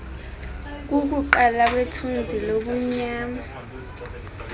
kukuqala kwethunzi lobumnyama